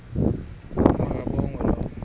ma kabongwe low